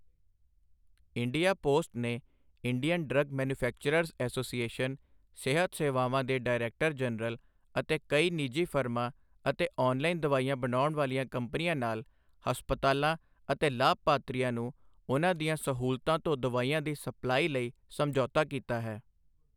India post ਨੇ Indian drug manufacturers association, ਸਿਹਤ ਸੇਵਾਵਾਂ ਦੇ ਡਾਇਰੈਕਟਰ ਜਨਰਲ ਅਤੇ ਕਈ ਨਿੱਜੀ ਫਰਮਾਂ ਅਤੇ ਆਨਲਾਈਨ ਦਵਾਈਆਂ ਬਣਾਉਣ ਵਾਲੀਆਂ ਕੰਪਨੀਆਂ ਨਾਲ ਹਸਪਤਾਲਾਂ ਅਤੇ ਲਾਭਪਾਤਰੀਆਂ ਨੂੰ ਉਨ੍ਹਾਂ ਦੀਆਂ ਸਹੂਲਤਾਂ ਤੋਂ ਦਵਾਈਆਂ ਦੀ ਸਪਲਾਈ ਲਈ ਸਮਝੌਤਾ ਕੀਤਾ ਹੈ।